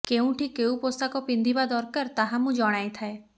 କେଉଁଠି କେଉଁ ପୋଷାକ ପିନ୍ଧିବା ଦରକାର ତାହା ମୁଁ ଜଣାଇଥାଏ